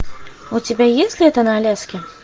у тебя есть лето на аляске